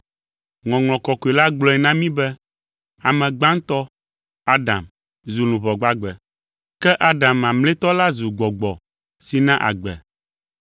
Ŋɔŋlɔ Kɔkɔe la gblɔe na mí be, “Ame gbãtɔ, Adam, zu luʋɔ gbagbe.” Ke Adam mamlɛtɔ la zu gbɔgbɔ si na agbe.